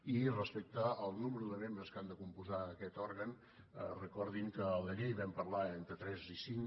i respecte al nombre de membres que han de compondre aquest òrgan recordin que a la llei vam parlar d’entre tres i cinc